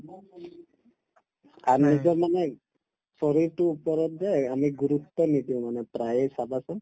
মানে শৰীৰটোৰ ওপৰত যে আমি গুৰুত্ব নিদিও মানে প্ৰায়ে চাবাচোন